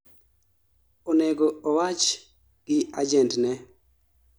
onego owach gi agent ne